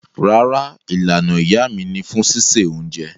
Rárá, Ìlànà iyá mi ni fún sísẹ ọ̀unjẹ